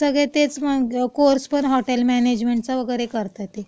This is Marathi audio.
हो, सगळे तेच.. कोर्स पण हॉटेल मॅनेजमेंटचा वगैरे करतायत ते.